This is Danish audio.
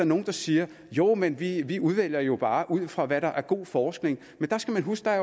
nogle der siger jo men vi vi vælger jo bare ud fra hvad der er god forskning men der skal man huske at